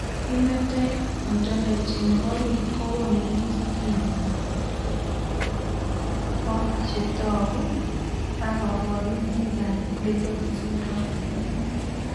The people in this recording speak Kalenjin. Phenotype ontology nebo biik kokoonu listini bo chetogu ak kaborunoik ab Liddle syndrome